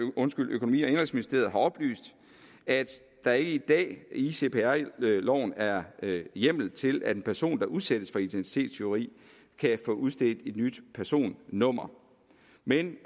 økonomi og indenrigsministeriet har oplyst at der ikke i dag i cpr loven er hjemmel til at en person der udsættes for identitetstyveri kan få udstedt et nyt personnummer men